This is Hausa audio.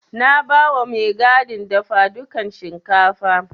Na bawa mai gadin dafadukan shinkafa.